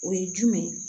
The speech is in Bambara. O ye jumɛn ye